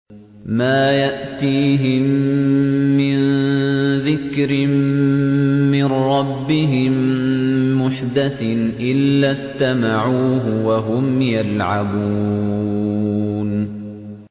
مَا يَأْتِيهِم مِّن ذِكْرٍ مِّن رَّبِّهِم مُّحْدَثٍ إِلَّا اسْتَمَعُوهُ وَهُمْ يَلْعَبُونَ